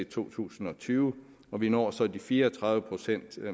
to tusind og tyve og vi når så de fire og tredive procent